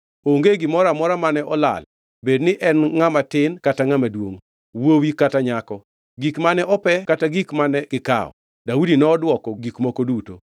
Onge gimoro amora mane olal bed ni en ngʼama tin kata ngʼama duongʼ, wuowi kata nyako, gik mane ope kata gik mane gikawo, Daudi nodwoko gik moko duto.